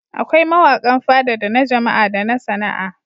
Akwai mawaƙan Fada da na Jama'a da na Sana'a.